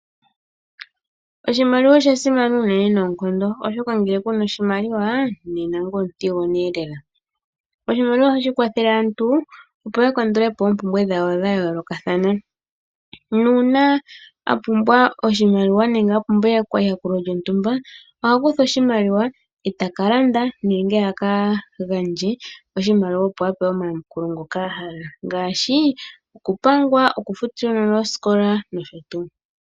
Oshimaliwa osha simana unene nonkondo, oshoka ngele kuna oshimaliwa nena ngoye omuthigonelela. Oshimaliwa ohashi kwathele aantu opo ya kandulepo oompumbwe dhawo dha yolokathana, nuna apumbwa oshimaliwa nenge apumbwa eyakulo ndjo ntumba oha kutha oshimaliwa etaka landa nenge aka gandje oshimaliwa opo apewe omayamukulo ngoka ahala ngashi okupangwa, okufutila uunona ooskola noshotu.